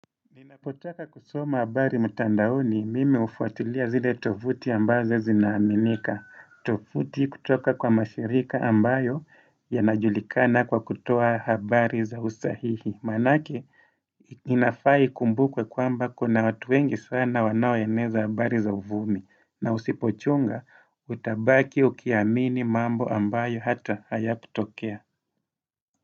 Ninapotaka kusoma habari mutandaoni mimi ufuatilia zile tovuti ambazo zinaaminika. Tovuti kutoka kwa mashirika ambayo yanajulikana kwa kutoa habari za usahihi Manake inafa ikumbukwe kwamba kuna watu wengi sana wanaoeneza habari za uvumi na usipochunga utabaki ukiamini mambo ambayo hata hayakutokea.